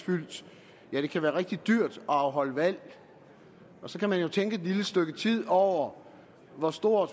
det er det kan være rigtig dyrt at afholde valg og så kan man jo tænke et lille stykke tid over hvor stor